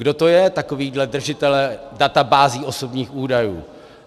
Kdo to je, takovíhle držitelé databází osobních údajů?